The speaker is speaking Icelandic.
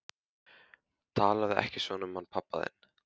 Talaðu ekki svona um hann pabba þinn.